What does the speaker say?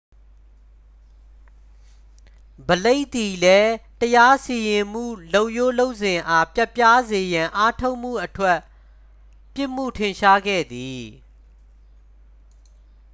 ဘလိတ် သည်လည်း တရားစီရင်မှုလုပ်ရိုးလုပ်စဉ်အား ပျက်ပြားစေရန် အားထုတ်မှုအတွက် ပြစ်မှုထင်ရှားခဲ့သည်